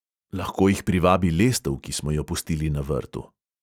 Lahko jih privabi lestev, ki smo jo pustili na vrtu.